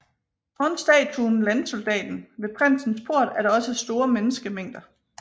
Foran statuen Landsoldaten ved Prinsens Port er der også store menneskemængder